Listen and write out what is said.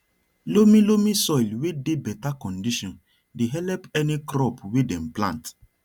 loamy loamy soil wey dey better condition dey help any crop wey dem plant